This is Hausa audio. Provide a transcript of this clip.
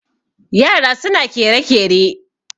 yara suna kere-kere